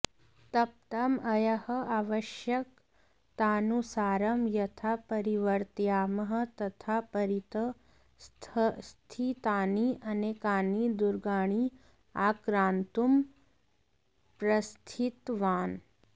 तप्तम् अयः आवश्यकतानुसारं यथा परिवर्तयामः तथा परितः स्थितानि अनेकानि दुर्गाणि आक्रान्तुं प्रस्थितवान्